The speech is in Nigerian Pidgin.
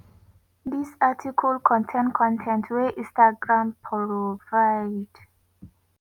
dis article contain con ten t wey instagram provide.